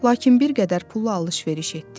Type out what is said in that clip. Lakin bir qədər pulla alış-veriş etdi.